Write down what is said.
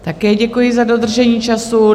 Také děkuji, za dodržení času.